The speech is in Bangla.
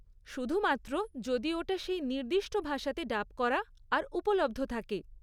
শুধুমাত্র যদি ওটা সেই নির্দিষ্ট ভাষাতে ডাব করা আর উপলব্ধ থাকে।